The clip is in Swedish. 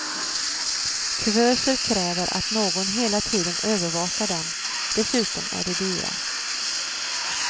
Kuvöser kräver att någon hela tiden övervakar dem, dessutom är de dyra.